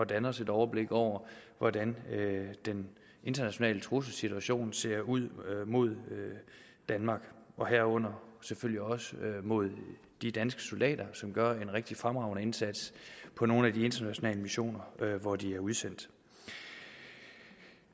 danne os et overblik over hvordan den internationale trusselssituation ser ud mod danmark herunder selvfølgelig også mod de danske soldater som gør en rigtig fremragende indsats på nogle af de internationale missioner hvor de er udsendt